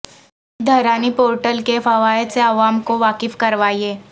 Dharani portal کے فوائد سے عوام کو واقف کروائیں